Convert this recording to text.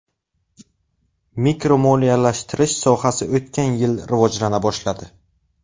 Mikromoliyalashtirish sohasi o‘tgan yil rivojlana boshladi.